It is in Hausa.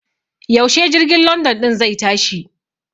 Yaushe jirgin London ɗin zai tashi?